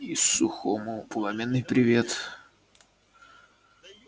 и сухому пламенный привет